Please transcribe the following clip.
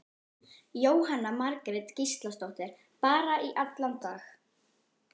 Jóhanna Margrét Gísladóttir: Bara í allan dag?